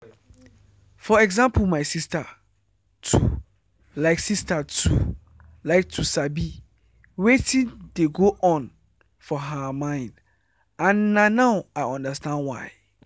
for example my sister too like sister too like to sabi wetin dey go on for her mind and na now i understand why.